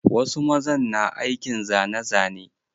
Wasu mazan na aikin zane zane.